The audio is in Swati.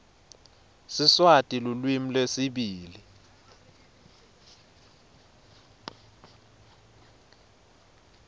siswati lulwimi lwesibili